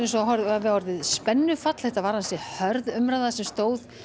hafi orðið spennufall þetta var ansi hörð umræða sem stóð